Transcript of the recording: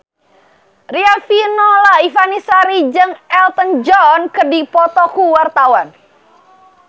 Riafinola Ifani Sari jeung Elton John keur dipoto ku wartawan